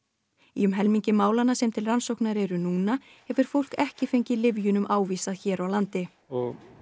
í um helmingi málanna sem til rannsóknar eru núna hefur fólk ekki fengið lyfjunum ávísað hér á landi og